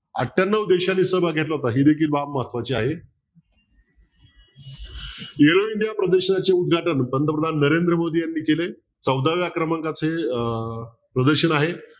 अठयान्नव देशांनी सहभाग घेतला होता ही देखील बाब महत्वाची आहे प्रदर्शनाचे उदघाटन पंतप्रधान नरेंद्र मोदी यांनी केले चौदाव्या क्रमांकाचे अं प्रदर्शन आहे